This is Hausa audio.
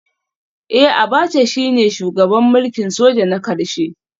Eh Abacha shine shugaban mulkin soja na karshe